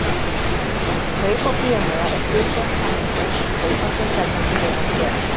Kaup á bíómiða er hluti af samningi sem kaupandi og seljandi miðans gera.